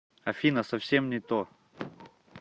афина совсем не то